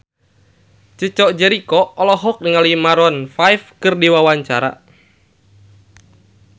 Chico Jericho olohok ningali Maroon 5 keur diwawancara